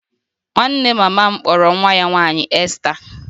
Nwanne mama m kpọrọ nwa ya nwaanyị Esther